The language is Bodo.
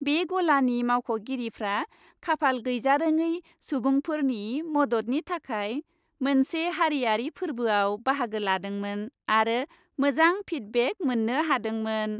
बे गलानि मावख'गिरिफ्रा खाफाल गैजारोङै सुबुंफोरनि मददनि थाखाय मोनसे हारियारि फोर्बोआव बाहागो लादोंमोन आरो मोजां फिडबेक मोननो हादोंमोन।